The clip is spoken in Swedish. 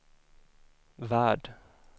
värld